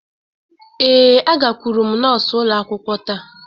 Ee, agakwuru m nọọsụ ụlọ akwụkwọ taa